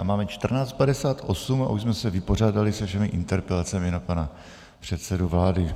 A máme 14.58 a už jsme se vypořádali se všemi interpelacemi na pana předsedu vlády.